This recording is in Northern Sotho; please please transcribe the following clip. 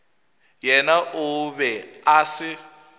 yena o be a se